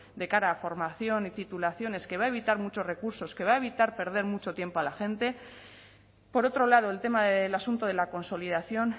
de cara a formación y titulaciones que va a evitar muchos recursos que va a evitar perder mucho tiempo a la gente por otro lado el tema del asunto de la consolidación